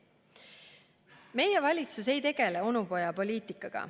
Meie valitsus ei tegele onupojapoliitikaga.